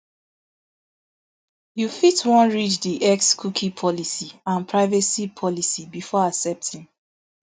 you fit wan read di x cookie policy and privacy policy before accepting